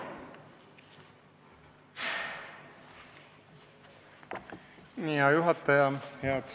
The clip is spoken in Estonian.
Hea juhataja!